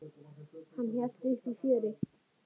Hann hélt uppi fjöri.